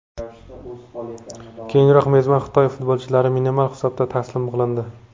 Keyinroq mezbon Xitoy futbolchilari minimal hisobda taslim qilindi.